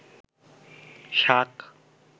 শাক